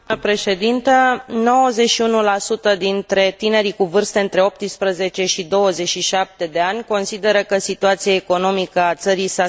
91 dintre tinerii cu vârste între 18 și 27 de ani consideră că situația economică a țării s a schimbat în rău.